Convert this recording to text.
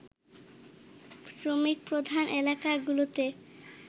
শ্রমিকপ্রধান এলাকাগুলোতে